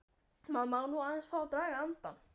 Maður má nú aðeins fá að draga andann!